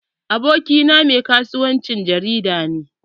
Abokina mai kasuwancin jarida ne.